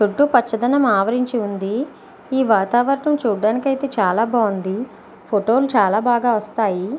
చుట్టూ పచ్చదనం ఆవరించి ఉంది. ఈ వాతావరణం చూడడానికైతే చాలా బాగుంది. ఫోటో లు చాలా బాగా వస్తాయి.